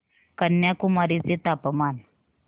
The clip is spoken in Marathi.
कन्याकुमारी चे तापमान